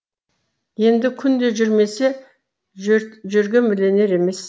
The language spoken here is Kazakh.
енді күнде жүрмесе жөргем ілінер емес